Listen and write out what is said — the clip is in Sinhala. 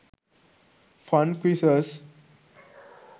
fun quizzes